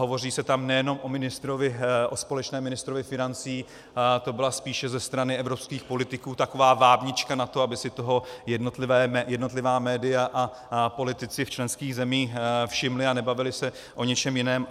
Hovoří se tam nejenom o společném ministrovi financí, to byla spíše ze strany evropských politiků taková vábnička na to, aby si toho jednotlivá média a politici v členských zemích všimli a nebavili se o ničem jiném.